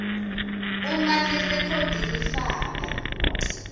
uma lirekhodi lifaka